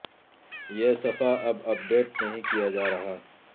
یہ صفحہ اب اپ ڈیٹ نہیں کیا جا رہا